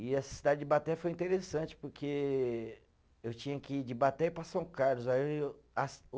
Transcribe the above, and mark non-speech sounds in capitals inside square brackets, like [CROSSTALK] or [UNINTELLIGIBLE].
E essa cidade de Ibaté foi interessante porque eu tinha que ir de Ibaté ir para São Carlos, aí eu. [UNINTELLIGIBLE]